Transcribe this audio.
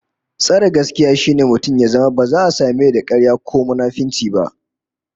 Tsare gaskiya shine mutum ya zama ba za a same da karya ko munafunci ba